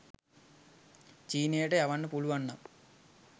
චීනයට යවන්න පුළුවන් නම්